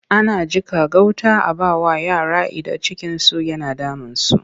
Ana jiƙa gauta a ba wa yara idan cikinsu yana damunsu.